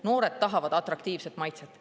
Noored tahavad atraktiivset maitset.